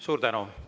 Suur tänu!